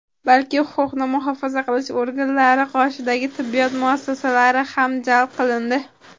balki huquqni muhofaza qilish organlari qoshidagi tibbiyot muassasalari ham jalb qilindi.